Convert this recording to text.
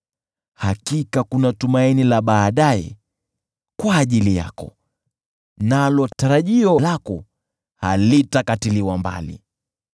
Hakika kuna tumaini la baadaye kwa ajili yako, nalo tarajio lako halitakatiliwa mbali.